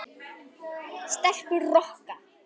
Stelpur Rokka!